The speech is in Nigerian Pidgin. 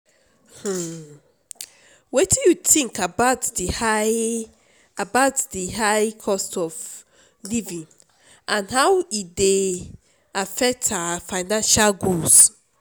um wetin you think about di high about di high cost of living and how e dey affect our financial goals?